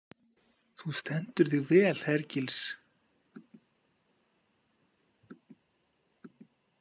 Þú stendur þig vel, Hergils!